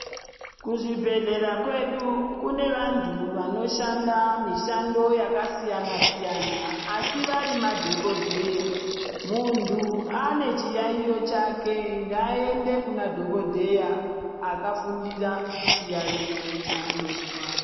Kuzvibhedhlera kwedu kune vantu vanoshanda mishando yakasiyana siyana asi vari madhokodheya. Muntu ane chiyaiyo chake ngaaende kuna dhokodheya akafundira chiyaiyo chaanozwa.